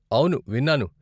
అవును, విన్నాను.